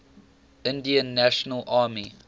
indian national army